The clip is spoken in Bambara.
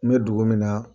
N bɛ dugu min na